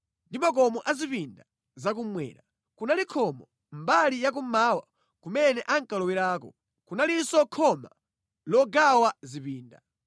ndi makomo a zipinda zakummwera. Kunali khomo mʼmbali ya kummawa kumene ankalowerako. Kunalinso khoma logawa zipinda.